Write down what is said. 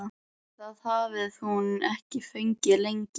Það hafði hún ekki fengið lengi.